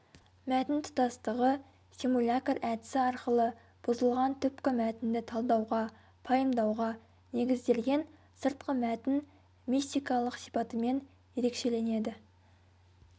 мәтін тұтастығы симулякр әдісі арқылы бұзылған түпкі мәтінді талдауға пайымдауға негізделген сыртқы мәтін мистикалық сипатымен ерекшеленеді